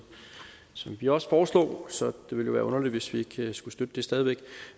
vi også foreslog så det ville være underligt hvis ikke vi skulle støtte det stadig væk